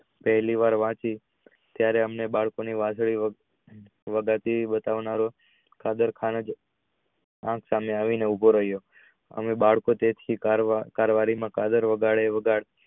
પહેલી વાર વાંચી ત્યારેઅમને બાળકો ની વાંસળી વગાડતી બતાવના નો આખા સામે આવી ને ઉભો રહીયો અને બાળકો તેથી તાર વળી માં